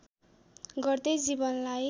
गर्दै जीवनलाई